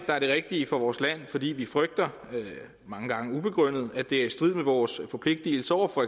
er det rigtige for vores land fordi vi frygter mange gange ubegrundet at det er i strid med vores forpligtigelser over for